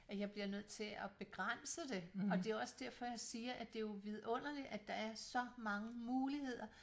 At jeg bliver nødt til at begrænse det og det er jo også derfor jeg siger at det er jo vidunderligt at der er så mange muligheder